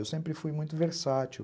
Eu sempre fui muito versátil.